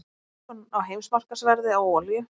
Hækkun á heimsmarkaðsverði á olíu